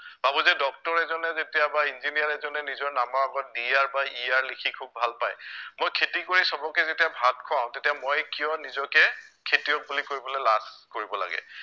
ভাৱো যে ডক্টৰ এজনে যেতিয়া বা ইঞ্জিনিয়াৰ এজনে নিজৰ নামৰ আগত Dr বা Er লিখি খুউব ভাল পায় মই খেতি কৰি সৱকে যেতিয়া ভাত খুৱাও তেতিয়া মই কিয় নিজকে খেতিয়ক বুলি কৰিবলে লাজ কৰিব লাগে